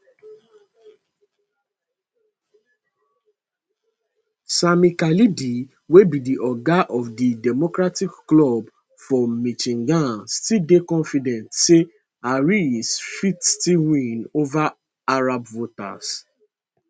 sami khalidi wey be di oga of di democratic club for michigan still dey confident say harris fit still win ova arab voters